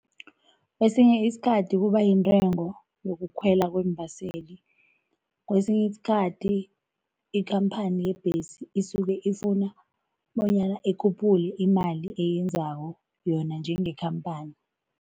Kwesinye isikhathi kuba yintengo yokukhwela kwembaseli, kwesinye isikhathi ikhamphani yebhesi isuke ifuna bonyana ikhuphule imali eyenzako yona njengekhamphani.